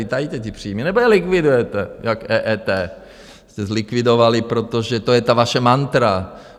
Vy tajíte ty příjmy, nebo je likvidujete, jako EET jste zlikvidovali, protože to je ta vaše mantra.